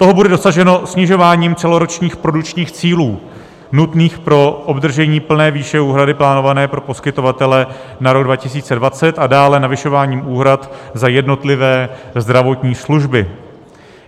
Toho bude dosaženo snižováním celoročních produkčních cílů nutných pro obdržení plné výše úhrady, plánované pro poskytovatele na rok 2020 a dále zvyšováním úhrad za jednotlivé zdravotní služby.